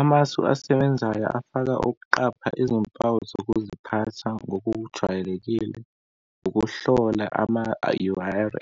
Amasu asebenzayo afaka, ukuqapha izimpawu zokuziphatha ngokujwayelekile, ukuhlola ama-url